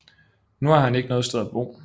Nu har han ikke noget sted at bo